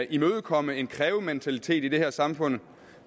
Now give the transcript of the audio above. imødekomme en krævementalitet i her samfund